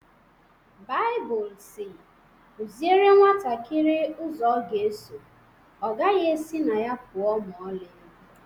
Baibụl si "Kụziere nwantakịrị ụzọ ọ ga-eso, ọ gaghị esi na ya pụọ ​​ma ọlị"